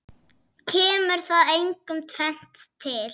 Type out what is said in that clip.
Kemur þar einkum tvennt til.